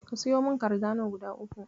Ka siyo min kardano guda uku.